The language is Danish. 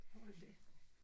Hold da